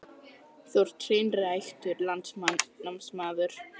Þú ert hreinræktaður landnámsmaður.